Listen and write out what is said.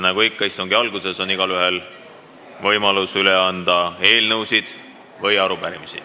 Nagu ikka istungi alguses, on igaühel võimalus üle anda eelnõusid või arupärimisi.